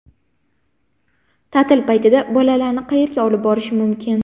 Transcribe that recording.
Ta’til paytida bolalarni qayerga olib borish mumkin?.